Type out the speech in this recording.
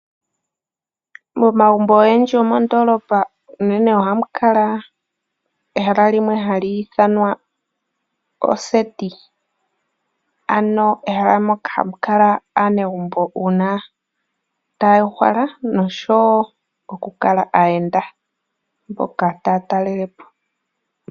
Momagumbo ogendji gomondolopa unene ohamu kala ehala limwe hali ithanwa oseti ,ano ehala moka hamu kala aanegumbo uuna ta ya uhala noshowo okukala aayenda mboka taa talele po.